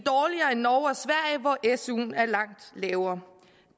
er suen er langt lavere